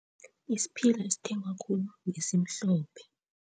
Isiphila esithengwa khulu ngesimhlophe.